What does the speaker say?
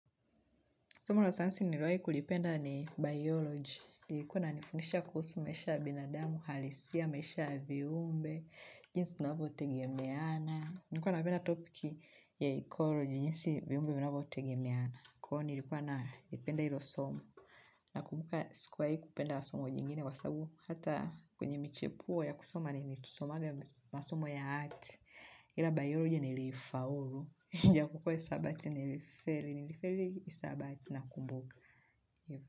Somo la sayansi niliwai kulipenda ni bioloji. Kuwa inanifundisha kuhusu maisha ya binadamu, halisia, maisha ya viumbe, jinsi tunavotegemeana. Nilikuwanapenda topiki ya ekoloji, jinsi viumbe vinavyotegemeana. Kwa hio nilikuwa naipenda ilo somo. Nakumbuka sikuwai kupenda somo jingine kwa sabu. Hata kunye michepuo ya kusoma ni mesomaga masomo ya hati. Ila bioloji nilifaulu. Japokuwa hisabati nilifeli, nilifeli hisabati na kumbuka.